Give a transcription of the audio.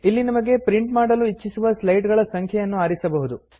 ಇಲ್ಲಿ ನಮಗೆ ಪ್ರಿಂಟ್ ಮಾಡಲು ಇಚ್ಚಿಸುವ ಸ್ಲೈಡ್ ಗಳ ಸಂಖ್ಯೆಯನ್ನು ಆರಿಸಬಹುದು